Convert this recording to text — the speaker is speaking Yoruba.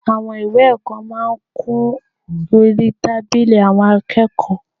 Àwọn ìwé ẹ̀kọ́ máa ń kún orí tábìlì àwọn akẹ́kọ̀ọ́